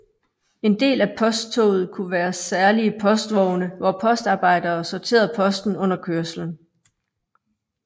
En del af posttoget kunne være særlige postvogne hvor postarbejdere sorterede posten under kørslen